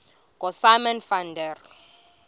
ngosimon van der